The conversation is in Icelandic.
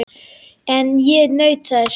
En ég naut þess.